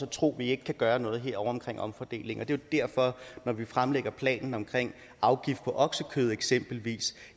tro at vi ikke kan gøre noget herovre med omfordeling og det derfor når vi fremlægger planen om afgift på oksekød eksempelvis